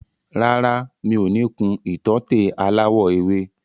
Rárá, mi ò ní kun ìtọ́tè aláwọ̀ ewé.